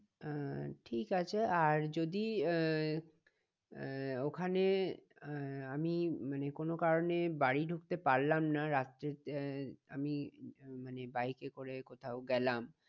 আহ ঠিক আছে আর যদি আহ আহ ওখানে আহ আমি মানে কোনো কারণে বাড়ি ঢুকতে পারলাম না রাত্রিতে আমি মানে বাইকে করে কোথাও গেলাম